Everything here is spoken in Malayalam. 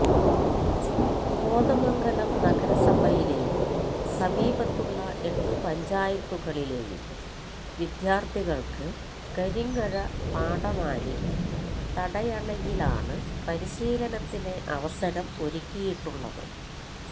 കോതമംഗലം നഗരസഭയിലെയും സമീപത്തുള്ള എട്ട് പഞ്ചായത്തുകളിലെയും വിദ്യാർത്ഥികൾക്ക് കരിങ്ങഴ പാഠംമാലി തടയണയിലാണ് പരിശീലനത്തിന് അവസരം ഒരുക്കിയിട്ടുള്ളത്